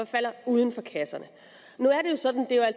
falder uden for kasserne nu er det sådan at